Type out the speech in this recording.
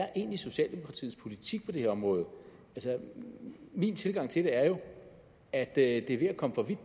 er egentlig socialdemokratiets politik på det her område altså min tilgang til det er jo at at det her